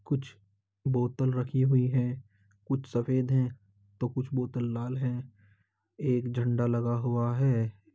कुछ बोतल रखी हुई है कुछ सफेद है तो कुछ बोतल लाल हैं। एक झंडा लगा हुआ है।